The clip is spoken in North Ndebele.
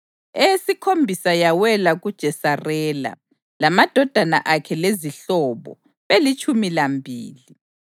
eyesikhombisa yawela kuJesarela, lamadodana akhe lezihlobo, belitshumi lambili;